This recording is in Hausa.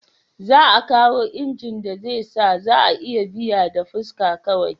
Za a kawo inji da zai sa za a iya biya da fuska kawai